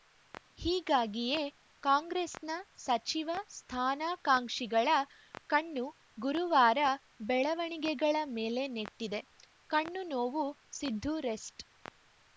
ಹೀಗಾಗಿಯೇ ಕಾಂಗ್ರೆಸ್‌ನ ಸಚಿವ ಸ್ಥಾನಾಕಾಂಕ್ಷಿಗಳ ಕಣ್ಣು ಗುರುವಾರ ಬೆಳವಣಿಗೆಗಳ ಮೇಲೆ ನೆಟ್ಟಿದೆ ಕಣ್ಣು ನೋವುಸಿದ್ದು ರೆಸ್ಟ್‌